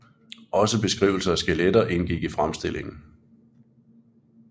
Også beskrivelser af skeletter indgik i fremstillingen